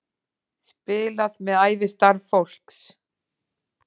Spilað með ævistarf fólks